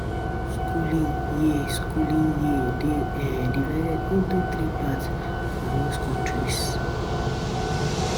Schooling year Schooling year dey um divided into three parts for most countries